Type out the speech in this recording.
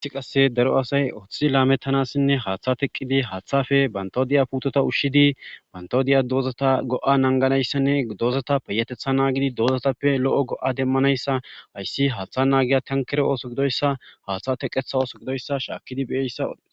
gissi qasse daro asay oththidi laamettanassinne haaththa teqqidi haaththafe bantodiya puutota ushshidi bantodiya doozata go7a nanganayssanne doozata peyatetha naagidi doozatappe lo7o go7a demmanayssa hayssi haaththa naagiya tankere ooso gidoyssa haaththa teqetha ooso gidoyssa shaakidi beyeyssa ode